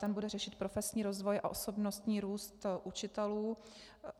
Ten bude řešit profesní rozvoj a osobnostní růst učitelů.